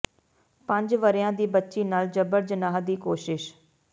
ਪੰਜ ਵਰ੍ਹਿਆਂ ਦੀ ਬੱਚੀ ਨਾਲ ਜਬਰ ਜਨਾਹ ਦੀ ਕੋਸ਼ਿਸ਼